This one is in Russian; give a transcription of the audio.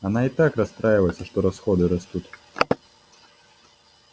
она и так расстраивается что расходы растут